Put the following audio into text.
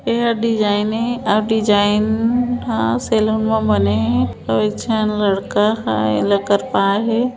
एहा डिजाइन हे अउ डिजाइन ह सैलून में बने और एकझन लड़का है एला कर्पा है ।